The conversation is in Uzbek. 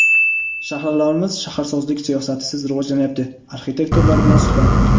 "Shaharlarimiz shaharsozlik siyosatisiz rivojlanyapti" - arxitektorlar bilan suhbat.